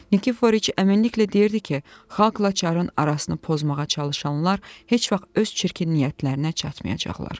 Nikiforiç əminliklə deyirdi ki, xalqla çar`ın arasını pozmağa çalışanlar heç vaxt öz çirkin niyyətlərinə çatmayacaqlar.